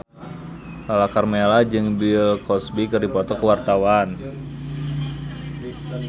Lala Karmela jeung Bill Cosby keur dipoto ku wartawan